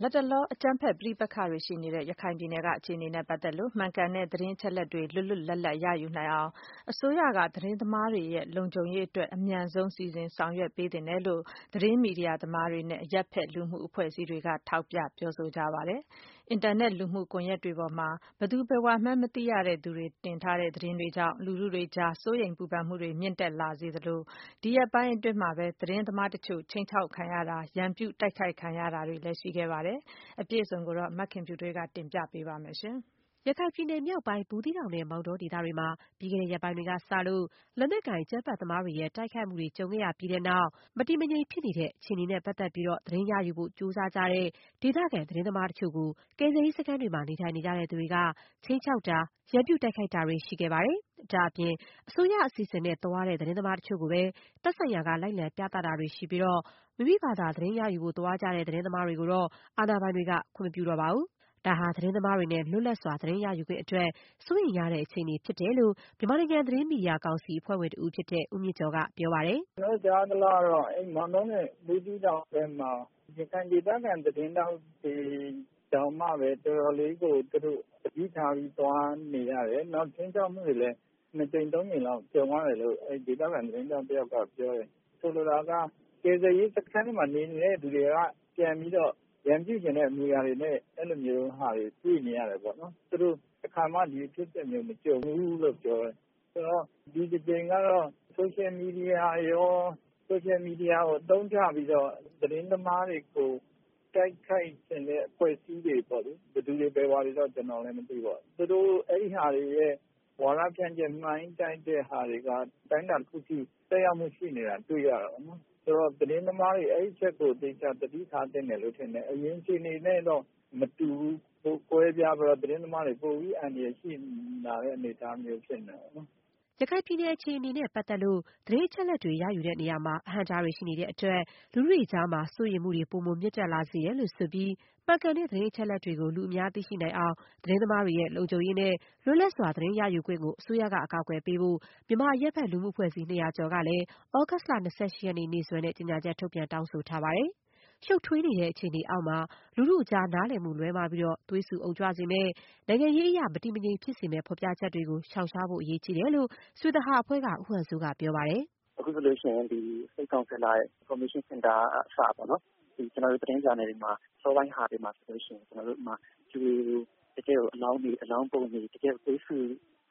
လတ်တလော အကြမ်းဖက်ပဋိပက္ခတွေ ရှိနေတဲ့ ရခိုင်ပြည်နယ်အတွင်းက အခြေအနေနဲ့ပတ်သက်လို့ မှန်ကန်တဲ့ သတင်းအချက်အလက် တွေကို လွတ်လွတ်လပ်လပ် ရယူနိုင်အောင် အစိုးရက သတင်းသမားတွေရဲ့လုံခြုံရေးအတွက် အမြန်ဆုံး စီစဉ် ဆောင်ရွက် ပေးသင့်တယ်လို့ သတင်းမီဒီယာ သမားတွေနဲ့ အရက်ဖက် လူမှုအဖွဲ့အစည်းတွေက ထောက်ပြ ပြောဆိုနေကြပါတယ်။ အင်တာနက် လူမှုကွန်ရက်တွေပေါ်မှာ ဘယ်သူ ဘယ်ဝါမှန်း မသိရတဲ့သူတွေ တင်ထားတဲ့သတင်းတွေကြောင့် လူထုတွေအကြား စိုးရိမ်ပူပန်မှုတွေ မြင့်တက်လာစေသလို၊ ဒီရက်ပိုင်း အတွင်းမှာပဲ သတင်းသမားတချို့ ခြိမ်းခြောက်ခံရတာ၊ ရန်ပြု တိုက်ခိုက်ခံရတာတွေလည်း ရှိခဲ့ပါတယ်။ အပြည့်စုံကို မခင်ဖြူထွေးက တင်ပြပေးပါမယ်။ ရခိုင်ပြည်နယ်မြောက်ပိုင်း၊ ဘူးသီးတောင်နဲ့ မောင်တောဒေသတွေမှာ ပြီးခဲ့တဲ့ရက်ပိုင်းတွေကစလို့ လက်နက်ကိုင် အကြမ်းဖက်သမားတွေရဲ့ တိုက်ခိုက်မှုတွေ ကြုံခဲ့ရပြီးတဲ့နောက်ပိုင်း မတည်မငြိမ်ဖြစ်နေတဲ့ အခြေအနေတွေနဲ့ပတ်သက်လို့ သတင်းရယူဖို့ ကြိုးစားကြတဲ့ ဒေသခံ သတင်းသမားတချို့ကို ကယ်ဆယ်ရေးစခန်းတွေမှာ နေထိုင်နေကြသူတွေက ခြိမ်းခြောက်တာ၊ ရန်ပြု တိုက်ခိုက်တာတွေ ရှိခဲ့ပါတယ်။ ဒါ့အပြင် အစိုးရအစီအစဉ်နဲ့ သွားတဲ့ သတင်းသမားတချို့ကိုပဲ သက်ဆိုင်ရာက လိုက်လံပြသတာတွေ ရှိပြီး၊ မိမိဖာသာ သတင်းယူဖို့သွားကြတဲ့ သတင်းသမားတွေကိုတော့ အာဏာပိုင်တွေက ခွင့်မပြုတော့ပါဘူး။ ဒါဟာ သတင်းသမားတွေနဲ့ လွတ်လပ်စွာ သတင်းရယူခွင့်အတွက် စိုးရိမ်ရတဲ့ အခြေအနေ ဖြစ်တယ်လို့ မြန်မာနိုင်ငံ သတင်းမီဒီယာကောင်စီ အဖွဲ့ဝင်တဦးဖြစ်တဲ့ ဦးမြင့်ကျော်က ပြောပါတယ်။ “ကျနော်တို့ကြားရသလောက်ကတော့ မောင်တောနဲ့ ဘူးသီးတောင်အတွင်းမှာ ရခိုင်ဒေသခံသတင်းထောက်တွေတောင်မှ တော်တော်လေးသတိထားပြီးသွားနေရတယ် နောက်ပြီးတော့ ခြိမ်းခြောက်မှုတွေလည်း ၂ ကြိမ်-၃ ကြိမ်လောက်ကြုံရတယ်လို့ ဒေသခံသတင်းထောက်၁ယောက်ကပြောတယ်။ ဆိုလိုတာက ကယ်ဆယ်ရေးစခန်းတွေမှာ နေနေတဲ့သူတွေက ပြန်ပြီးတော့ ရန်ပြုချင်တဲ့ဟာမျိုးတွေတွေ့နေရတယ်ပေါ့နော်။ သူတို့ တခါမှ ဒီလိုဖြစ်စဉ်မျိုးမကြုံဖူးဘူးလို့ပြောတယ် ဆိုတော့ ဒီ တကြိမ်ကတော့ Social Media တွေကို အသုံးချပြီးတော့ သတင်းသမားတွေကို တိုက်ခိုက်ချင်တဲ့အဖွဲ့တွေပေါ့လေ။ ဘယ်သူတွေဘယ်ဝါတွေတော့ မသိဘူးပေါ့နော်။ သူတို့ အဲဒီဟာတွေရဲ့ ဝါဒဖြန့်ချက် ၊ မှိုင်းတိုက်တာတွေက အတိုင်းအတာတခု အထိရှိနေတာ တွေ့ရတာပေါ့နော်။ ဆိုတော့ သတင်းသမားတွေ အဲဒီအချက်ကို သေချာသတိထားသင့်တယ်လို့ထင်တယ်။ အရင်အခြေအနေတွေနဲ့ တော့ မတူဘူး ကွားပြားပြီးတော့ သတင်းသမားတွေ ပိုပြီးအန္တရာယ်ရှိလာနိုင်တဲ့ သဘောပေါ့နော်။” ရခိုင်ပြည်နယ် အခြေအနေနဲ့ပတ်သက်လို့ သတင်းအချက်အလက်တွေ ရယူတဲ့နေရာမှာ အဟန့်အတားတွေ ရှိနေတဲ့အတွက် လူထုတွေကြား စိုးရိမ်မှုတွေ ပိုမို မြင့်တက်လာစေတယ်လို့ ဆိုပြီး မှန်ကန်တဲ့သတင်း အချက်အလက်တွေကို လူအများသိရှိနိုင်အောင် သတင်းသမားတွေရဲ့ လုံခြုံရေးနဲ့ လွတ်လပ်စွာ သတင်းရယူခွင့်ကို အစိုးရက အကာအကွယ်ပေးဖို့ မြန်မာအရပ်ဘက် လူမှု အဖွဲ့အစည်း ၂၀၀ ကျော်ကလည်း သြဂုတ်လ ၂၈ ရက်နေ့ နေ့စွဲနဲ့ ကြေညာချက် ထုတ်ပြန် တောင်းဆိုထားပါတယ်။ ရှုပ်ထွေးနေတဲ့ အခြေအနေအောက်မှာ လူထုအကြား နားလည်မှု လွဲမှားပြီး သွေးဆူအုံကြွစေမယ့်၊ နိုင်ငံရေးအရ မတည်မငြိမ်ဖြစ်စေမယ့် ဖော်ပြချက်တွေကို ရှောင်ရှားဖို့ အရေးကြီးတယ်လို့ ဆွေသဟာအဖွဲ့က ဦးဟန်စိုးက ပြောပါတယ်။ “ အခုဆိုရင် State Counsellor Information center ကအစပေါ့နော် ကျနော်တို့ သတင်းဂျာနယ်တွေမှာ အစောပိုင်းမှာဆိုရင် လူတွေကို တကယ့်အလောင်းပုံတွေ ၊ တကယ့်သွေးဆူ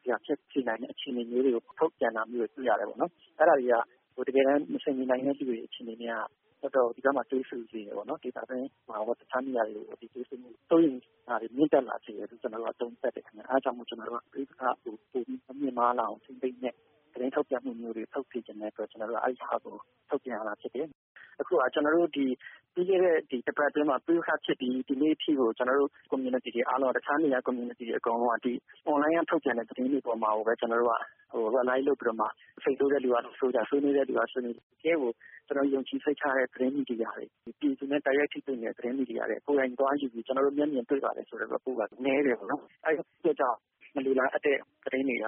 စရာဖြစ်စေနိုင်တဲ့ အခြေအနေမျိုးတွေကို ထုတ်ပြန်တာတွေ့ရတယ်ပေါ့နော်။ အဲဒါတွေက တကယ့်ကို မဆင်ချင် နိုင်တဲ့လူတွေအခြေအနေနဲ့က တကယ့်ကို ဒီဘက်မှာ သွေးဆူစေတယ်ပေါ့နော်။ ဒေသတွင်းမှာရော တခြားနေရာတွေကိုပါ သွေးဆူမှုတွေ၊ စိုးရိမ်မှုတွေကို မြင့်တက်လာစေတယ်လို့ ကျနော်တို့ သုံးသပ်တယ်ခင်ဗျ။ အဲဒါကြောင့် ကျနော်တို့က ပဋိပက္ခကို ပိုပြီး မမြင့်မားလာအောင် ထိန်းသိမ်းတဲ့ သတင်းထုတ်ပြန်မှုတွေ ထုတ်စေချင်တဲ့ အတွက် ကျနော်တို့က အဲဒါကို ထုတ်ပြန်ရတာဖြစ်တယ်။ အခုက ကျနော်တို့ ပြီးခဲ့တဲ့ ၁ ပတ်အတွင်းမှာ ပဋိပက္ခဖြစ်ပြီး ဒီနေ့အထိကို ကျနော်တို့ community တွေအားလုံးက တခြားနေရာကcommunity တွေအားလုံးက ဒီ Online ကထုတ်ပြန်တဲ့ သတင်းတွေအပေါ်မှာကိုပဲ စိတ်ဆိုးတဲ့လူတွေက ဆိုးကြ၊ ဆွေးနွေးတဲ့လူတွေက ဆွေးနွေး တကယ့်ကို ကျနော်ယုံကြည်စိတ်ချရတဲ့ သတင်းမီဒီယာတွေ ၊ ပြည်သူနဲ့ တိုက်ရိုက်ထိတွေ့နေတဲ့ သတင်းမီဒီယာတွေ ကိုယ်တိုင်သွားယူပြီး ကျနော်တို့ မျက်မြင်တွေ့ပါတယ်ဆိုတဲ့ Report ကနည်းတယ်ပေါေ့နာ်။ အဲဒီအတွက်ကြောင့် မလိုလားအပ်တဲ့ သတင်းတွေက လူ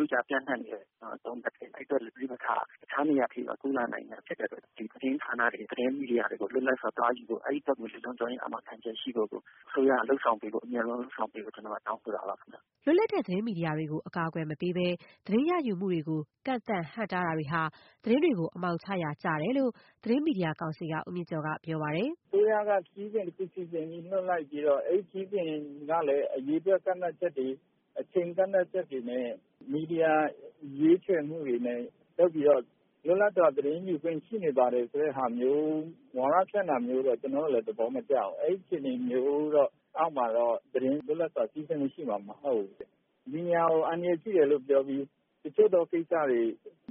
ထုကြားမှာ ပြန့်နှံ့နေတယ်ပေါ့နော် ။ အဲဒီအတွက်လည်း ပဋိပက္ခက တခြားနေရာတွေ အထိ ကူးလာနိုင်တာဖြစ်တဲ့အတွက်ကြောင့် သတင်းဌာနတွေ ၊ သတင်းမီဒီယာတွေ ကို လွတ်လပ်စွာသွားယူဖို့ အဲဒီဘက်ကို လုံခြုံရေးအာမခံချက်ရှိဖို့ကို အစိုးရက အမြန်ဆုံးလုပ်ဆောင်ပေးဖို့ ကျနော်က တောင်းဆိုတာပါခင်ဗျ၊” လွတ်လပ်တဲ့ သတင်းမီဒီယာတွေကို အကာအကွယ်မပေးဘဲ၊ သတင်းရယူမှုတွေကို ကန့်သတ် ဟန့်တားတာတွေ လုပ်နေမယ်ဆိုရင် သတင်းတွေကို အမှောင်ချရာ ရောက်လိမ့်မယ်လို့ သတင်းမီဒီယာကောင်စီက ဦးမြင့်ကျော်ကလည်း ပြောပါတယ်။ “အစိုးရက ခရီးစဉ်တခုစီစဉ်ပြီး လွတ်လိုက်ပြီးတော့ အဲဒီခရီးစဉ်ကလည်း အရေအတွက် ကန့်သတ်ချက်တွေ ၊ အချိန်ကန့်သတ်ချက်တွေနဲ့ မီဒီယာ ရွေးချယ်မှုတွေလုပ်ပြီးတော့ လွတ်လပ်စွာသတင်းယူခွင့်ရှိနေပါတယ်ဆိုတာမျိုး ဝါဒဖြန့်တာမျိုးတော့ကျနော်တို့လည်း သဘောမကျဘူး။ အဲဒီအခြေအနေမျိုးအောက်မှာတော့ လွတ်လပ်စွာသတင်းယူခွင့်ရှိမှာမဟုတ်ဘူး။ မီဒီယာကို အန္တရာယ်ပြုတယ်ပြောပြီး တချို့သောကိစ္စတွေ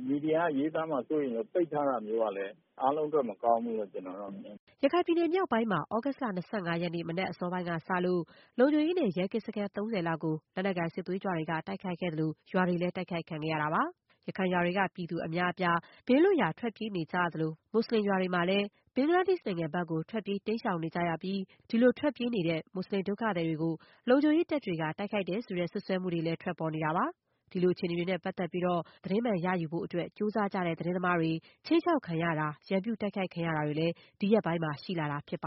မီဒီယာက ရေးသားမှာ စိုးရိမ်လို့ ပိတ်ထားတာမျိုးက လည်း အားလုံးအတွက် မကောင်းဘူးလို့ ကျနော်တု့ိ မြင်တယ်။” ရခိုင်ပြည်နယ်မြောက်ပိုင်းမှာ သြဂုတ်လ ၂၅ ရက်နေ့ မနက်အစောပိုင်းက စလို့ လုံခြုံရေးနဲ့ ရဲကင်းစခန်း ၃၀ လောက်ကို လက်နက်ကိုင် စစ်သွေးကြွတွေက တိုက်ခိုက်ခဲ့သလို၊ ရွာတွေလည်း တိုက်ခိုက်ခံခဲ့ရတာပါ။ ရခိုင်ရွာတွေက ပြည်သူ အများအပြား ဘေးလွတ်ရာ ထွက်ပြေးနေကြရသလို၊ မွတ်ဆလင်ရွာတွေမှာလည်း ဘင်္ဂလားဒေရှ့် နိုင်ငံဘက်ကို ထွက်ပြေး တိမ်းရှောင်နေကြပြီး ဒီလိုထွက်ပြေးတဲ့ ဒုက္ခသည်တွေကို လုံခြုံရေးတပ်တွေက တိုက်ခိုက်တယ် ဆိုတဲ့ စွပ်စွဲမှုတွေလည်း ထွက်ပေါ်နေပါတယ်။ ဒီလို အခြေအနေတွေနဲ့ ပတ်သက်လို့ သတင်းမှန် ရယူဖို့အတွက် ကြိုးစားကြတဲ့ သတင်းသမားတွေ ခြိမ်းခြောက် ခံရတာ၊ ရန်ပြုတိုက်ခိုက် ခံရတာတွေလည်း ဒီရက်ပိုင်း ရှိလာနေတာဖြစ်ပါ